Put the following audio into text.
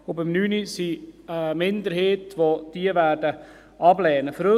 Bei der Planungserklärung 9 gibt es eine Minderheit, die diese ablehnen wird.